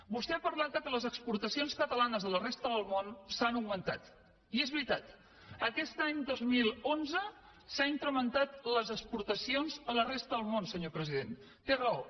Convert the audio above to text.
vostè ha parlat que les exportacions catalanes a la resta del món han augmentat i és veritat aquest any dos mil onze s’han incrementat les exportacions a la resta del món senyor president té raó